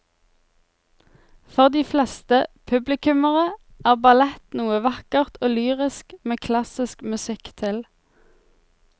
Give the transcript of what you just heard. For de fleste publikummere er ballett noe vakkert og lyrisk med klassisk musikk til.